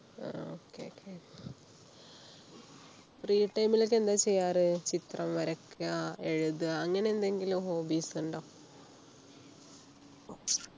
ആഹ് okay free time ലൊക്കെ എന്താ ചെയ്യാറ് ചിത്രം വരക്കുക എഴുതുക അങ്ങനെ എന്തെങ്കിലും hobbies ഉണ്ട